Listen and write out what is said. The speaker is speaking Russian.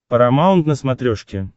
парамаунт на смотрешке